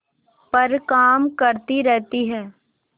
पर काम करती रहती है